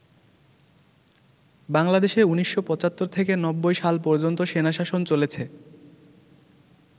বাংলাদেশে ১৯৭৫ থেকে ৯০ সাল পর্যন্ত সেনাশাসন চলেছে।